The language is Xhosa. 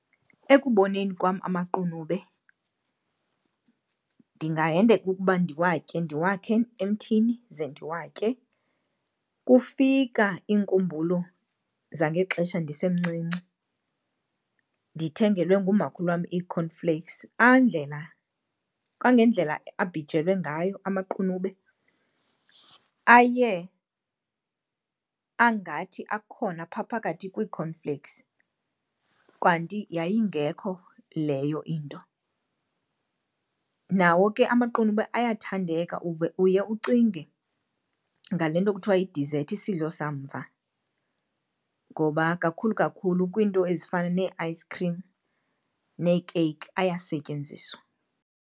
Ekuboneni kwam amaqunube ndingahendeka ukuba ndiwatye, ndiwakhe emthini ze ndiwatye. Kufika iinkumbulo zangexesha ndisemncinci, ndithengelwe ngumakhulu wam ii-cornflakes. Andlela, kangendlela abhijelwe ngayo amaqunube aye angathi akhona pha phakathi kwii-cornflakes kanti yayingekho leyo into. Nawo ke amaqunube ayathandeka uve, uye ucinge ngale nto kuthiwa yidizethi, isidlo samva, ngoba kakhulu kakhulu kwiinto ezifana nee-ice cream neekeyiki ayasetyenziswa.